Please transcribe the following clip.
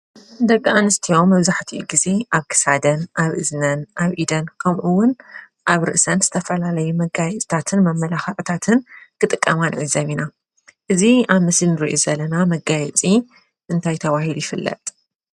ደቂኣንስትዮ መብዛሕቲኡ ግዜ ኣብ ክሳደን ፣ኣብ እዝነን፣ ኣብ ኢደን ከምኡውን ኣብ ርእሰን ዝዘፈላለዩ መጋየፅታትን መመላክዕታትን ክጥቀማ ንዕዘብ ኢና። እዚ ኣብ ምስሊ ንርኦ ዘለና መጋየፂ እንታይ ተባሂሉ ይፍለጥ?